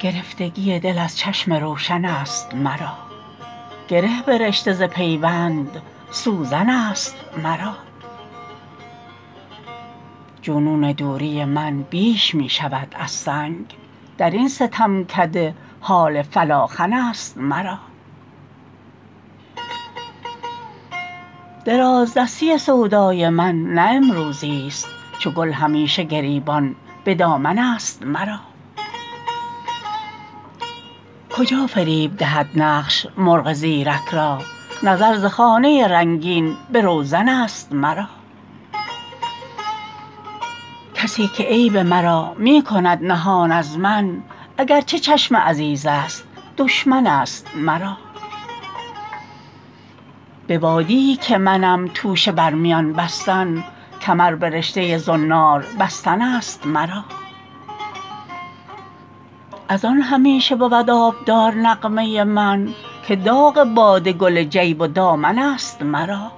گرفتگی دل از چشم روشن است مرا گره به رشته ز پیوند سوزن است مرا جنون دوری من بیش می شود از سنگ درین ستمکده حال فلاخن است مرا درازدستی سودای من نه امروزی است چو گل همیشه گریبان به دامن است مرا کجا فریب دهد نقش مرغ زیرک را نظر ز خانه رنگین به روزن است مرا کسی که عیب مرا می کند نهان از من اگر چه چشم عزیزست دشمن است مرا به وادیی که منم توشه بر میان بستن کمر به رشته زنار بستن است مرا ازان همیشه بود آبدار نغمه من که داغ باده گل جیب و دامن است مرا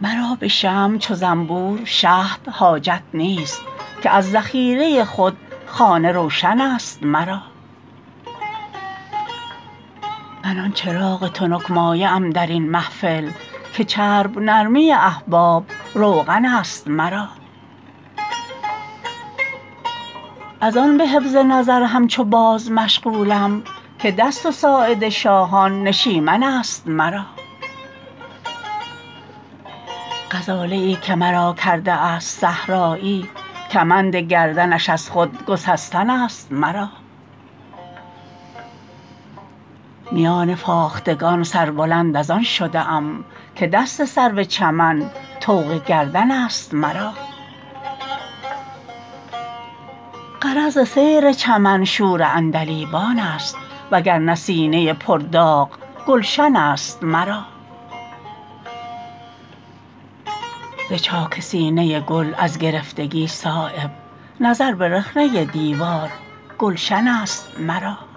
مرا به شمع چو زنبور شهد حاجت نیست که از ذخیره خود خانه روشن است مرا من آن چراغ تنک مایه ام درین محفل که چرب نرمی احباب روغن است مرا ازان به حفظ نظر همچو باز مشغولم که دست و ساعد شاهان نشیمن است مرا غزاله ای که مرا کرده است صحرایی کمند گردنش از خود گسستن است مرا میان فاختگان سربلند ازان شده ام که دست سرو چمن طوق گردن است مرا غرض ز سیر چمن شور عندلیبان است وگرنه سینه پر داغ گلشن است مرا ز چاک سینه گل از گرفتگی صایب نظر به رخنه دیوار گلشن است مرا